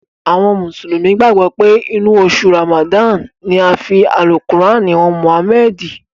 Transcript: Àwọn mùsùlùmí gbàgbọ́ pé inú oṣù Ràmàdáànì ni a fi Àlùkùránì han Mụ̀hámẹ́ẹ̀dì.